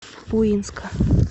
буинска